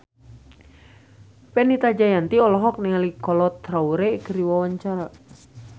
Fenita Jayanti olohok ningali Kolo Taure keur diwawancara